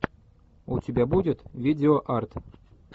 у тебя будет видео арт